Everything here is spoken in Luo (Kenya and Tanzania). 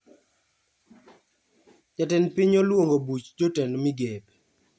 Jatend piny oluongo buch jotend migepe